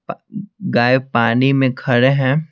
गाय पानी में खड़े हैं।